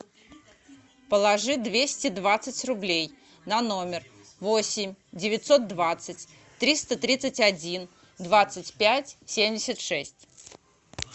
положи двести двадцать рублей на номер восемь девятьсот двадцать триста тридцать один двадцать пять семьдесят шесть